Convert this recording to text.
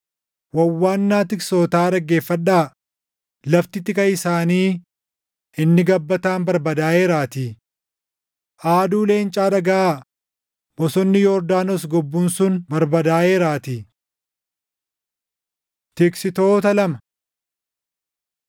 Wawwaannaa tiksootaa dhaggeeffadhaa; lafti tika isaanii inni gabbataan barbadaaʼeeraatii! Aaduu leencaa dhagaʼaa; bosonni Yordaanos gobbuun sun barbadaaʼeeraatii! Tiksitoota Lama